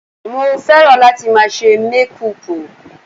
Mo fẹ́ràn láti máa ṣe mékùpù